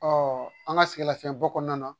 an ka sɛgɛn lafiyɛnbɔ kɔnɔna na